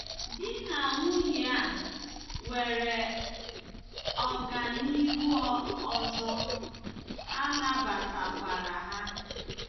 Di na nwunye a nwere ọganihu ọzọ, a nabatakwara ha.